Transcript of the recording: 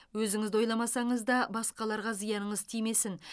өзіңізді ойламасаңыз да басқаларға зияныңыз тимесін